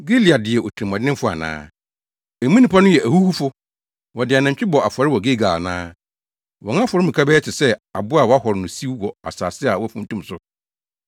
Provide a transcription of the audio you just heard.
Gilead yɛ otirimɔdenfo ana? Emu nnipa no yɛ ahuhufo! Wɔde anantwi bɔ afɔre wɔ Gilgal ana? Wɔn afɔremuka bɛyɛ te sɛ abo a wɔahɔre no siw wɔ asase a wɔafuntum so.